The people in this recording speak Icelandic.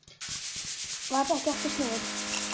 Varð ekki aftur snúið.